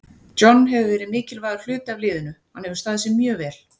John hefur verið mikilvægur hluti af liðinu, hann hefur staðið sig mjög vel.